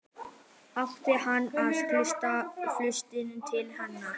Átti hann að kasta flöskunni til hennar?